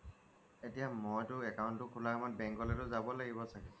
এতিয়া মইটো account টো খোলাৰ সময়ত bank লৈকে যাব লাগিব চাগে